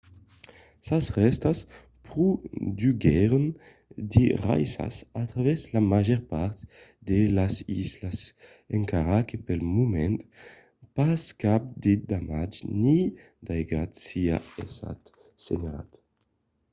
sas rèstas produguèron de raissas a travèrs la màger part de las islas encara que pel moment pas cap de damatge ni d'aigat siá estat senhalat